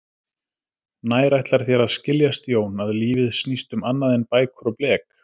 Nær ætlar þér að skiljast Jón, að lífið snýst um annað en bækur og blek?